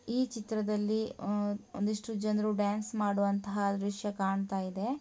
ಈ ಚಿತ್ರದಲ್ಲಿ ಒಂದಿಷ್ಟು ಜನರು ಡ್ಯಾನ್ಸ್ ಮಾಡುವಂತಹ ದೃಶ್ಯ ಕಾಣ್ತಾ ಇದೆ.